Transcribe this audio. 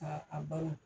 Ka a bala